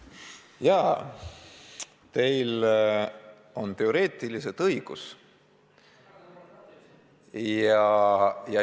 Jaa, teil on teoreetiliselt õigus.